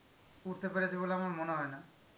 উঠতে পেরেছে বলে আমার মনে হয় না..